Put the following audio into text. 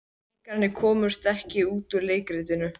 En leikararnir komast ekki út úr leikritinu.